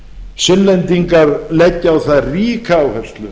sunnlendingar leggja á það ríka áherslu